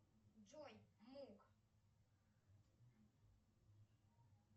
джой мук